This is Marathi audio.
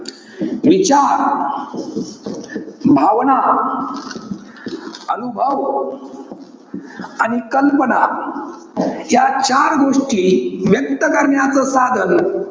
विचार, भावना, अनुभव, आणि कल्पना या चार गोष्टी, व्यक्त करण्याचं साधन,